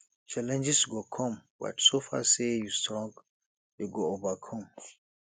challenges go come but so far say you strong you go overcome